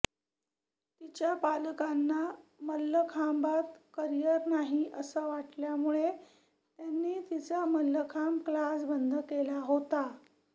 तिच्या पालकांना मल्लखांबात करिअर नाही असं वाटल्यामुळे त्यांनी तिचा मल्लखांब क्लास बंद केला होता